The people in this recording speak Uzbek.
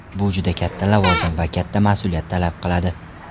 Bu juda katta lavozim va katta mas’uliyat talab qiladi.